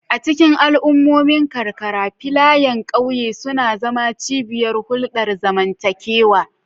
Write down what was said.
A cikin al'ummomin karkara, filayen ƙauye suna zama cibiyar hulɗar zamantakewa.